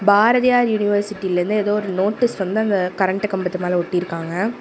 பாரதியார் யுனிவர்சிட்டில இருந்து எதோ ஒரு நோட்டிஸ் வந்து அங்க கரண்ட் கம்பத்து மேல ஒட்டிருக்காங்க.